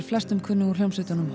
flestum kunnug úr hljómsveitunum